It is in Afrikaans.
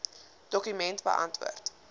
dokument beantwoord